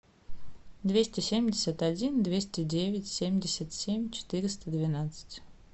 двести семьдесят один двести девять семьдесят семь четыреста двенадцать